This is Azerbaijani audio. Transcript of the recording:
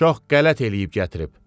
Çox qələt eləyib gətirib.